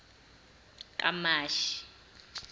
kamashi